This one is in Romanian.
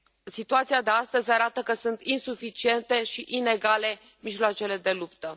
situația de astăzi arată că sunt insuficiente și inegale mijloacele de luptă.